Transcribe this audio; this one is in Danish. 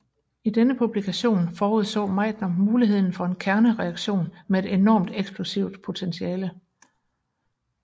I denne publikation forudså Meitner muligheden for en kernereaktion med et enormt eksplosivt potentiale